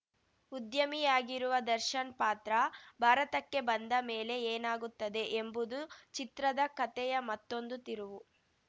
ಉದ್ಯಮಿಯಾಗಿರುವ ದರ್ಶನ್‌ ಪಾತ್ರ ಭಾರತಕ್ಕೆ ಬಂದ ಮೇಲೆ ಏನಾಗುತ್ತದೆ ಎಂಬುದು ಚಿತ್ರದ ಕತೆಯ ಮತ್ತೊಂದು ತಿರುವು